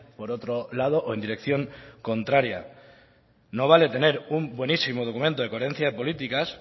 por otro lado o en dirección contraria no vale tener un buenísimo documento de coherencias de políticas